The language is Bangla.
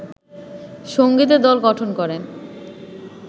সংগীতের দল গঠন করেন